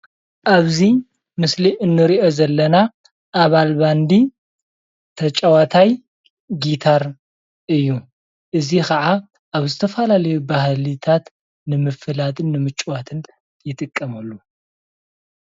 ኣብዚ ምስሊ እንሪኦ ዘለና ኣባል ባንዲ ተጫዋታይ ጊታር እዩ፣ እዚ ክዓ ኣብ ዝተፈላለዩ ባህልታት ንምፍላጥን ንምጭዋትን ይጥቀመሉ፡፡